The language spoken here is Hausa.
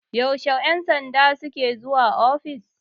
yaushe 'yansanda suke zuwa ofis?